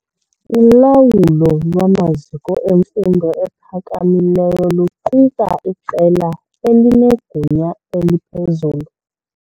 Ulawulo lwamaziko emfundo ephakamileyo luquka iqela elinegunya eliphezulu.